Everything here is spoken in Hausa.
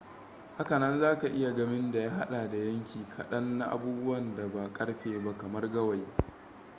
haka nan za ka iya gamin da ya haɗa da yanki kaɗan na abubuwan da ba ƙarfe ba kamar gawayi